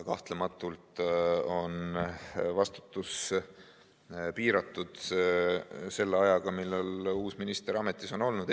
Kahtlematult on vastutus piiratud selle ajaga, millal uus minister ametis on olnud.